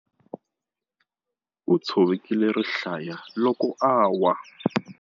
U tshovekile rihlaya loko a lwa.